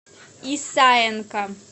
исаенко